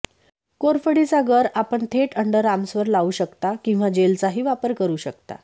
कोरफडीचा गर आपण थेट अंडरआर्म्सवर लावू शकता किंवा जेलचाही वापर करू शकता